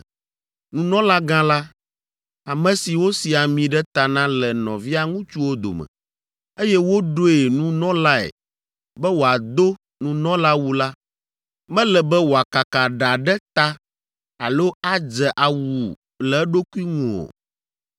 “ ‘Nunɔlagã la, ame si wosi ami ɖe ta na le nɔvia ŋutsuwo dome, eye woɖoe nunɔlae be wòado nunɔlawu la, mele be wòakaka ɖa ɖe ta alo adze awu le eɖokui ŋu o.